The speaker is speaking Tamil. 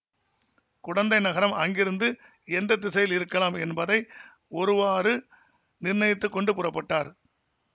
குடந்தை நகரம் அங்கிருந்து எந்த திசையில் இருக்கலாம் என்பதை ஒருவாறு நிர்ணயித்துக் கொண்டு புறப்பட்டார்